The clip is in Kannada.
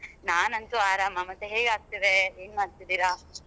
ನಾನಂತು ಆರಾಮ ಮತ್ತೆ ಹೇಗಾಗ್ತಿದೆ ಏನ್ ಮಾಡ್ತಿದ್ದೀರಾ?